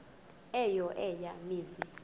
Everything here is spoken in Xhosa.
eyo eya mizi